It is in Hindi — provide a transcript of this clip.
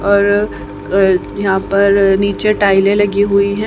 और अ यहां पर नीचे टाइलें लगी हुई हैं।